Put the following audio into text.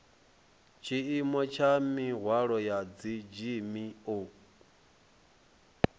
tshiimo tsha mihwalo ya dzgmo